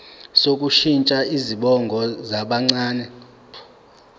sokushintsha izibongo zabancane